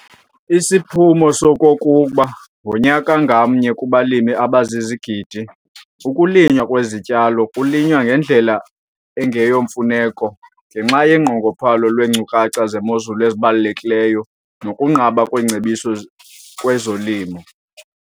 Isiphumo soko kukuba, ngonyaka ngamnye, kubalimi abazizigidi, ukulinywa kwezityalo kunyinwa ngendlela engeyomfuneko ngenxa yonqongophalo lweenkcukacha zemozulu ezibalulekileyo nokunqaba kweengcebiso kwezolimo.